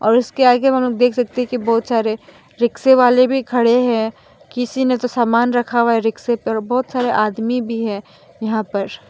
और उसके आगे हम लोग देख सकते हैं कि बहुत सारे रिक्शे वाले भी खड़े हैं किसी ने तो सामान रखा हुआ है रिक्शे पर और बहोत सारे आदमी भी है यहां पर --